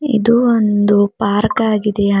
ಇದು ಒಂದು ಪಾರ್ಕ್ ಆಗಿದೆ ಹಾ --